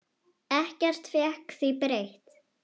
Ekkert fékk því breytt.